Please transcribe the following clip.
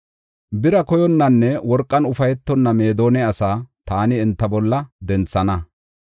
Bira koyonnanne worqan ufaytonna Meedona asaa taani enta bolla denthana.